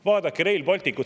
Vaadake Rail Balticut!